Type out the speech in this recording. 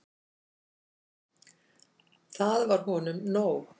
Það var honum nóg.